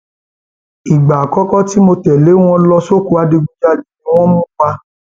ìgbà àkọkọ tí mo tẹlé wọn lọ sóko ìdigunjalè ni wọn mú wá